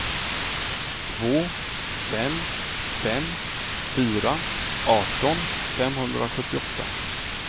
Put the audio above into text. två fem fem fyra arton femhundrasjuttioåtta